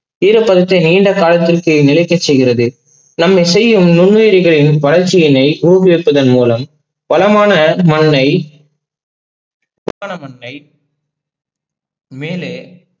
நீண்ட காலத்திற்கு நிலைக்க செய்கிறது. நம்மை செய்யும் முவ்வேரிகளின் வளர்ச்சியினை ஊக்குவிப்பது மூலம். வளமான மண்ணை பித்தல மண்ணை மேலே